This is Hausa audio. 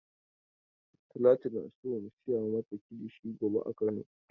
Talatu na so mu saya mata kilishi gobea kano.